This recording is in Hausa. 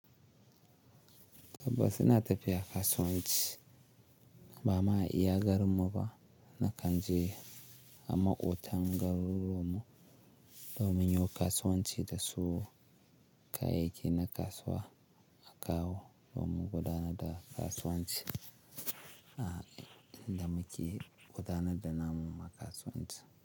Tabbas suna tafiya kasuwanci ba ma iya garinmu ba na kanje a maƙotan garuruwan mu domin yo kasuwanci da sawo kayayyaki na kasuwa a kawo domin gu dana da kasuwanci a inda muke gudanar da namun mu na kasuwanci.